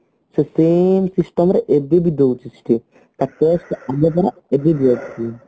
ସେଇ system ରେ ଏବେ ବି ଦଉଛି ସେଠି ତା ଏବେ ବି ଅଛି